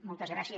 moltes gràcies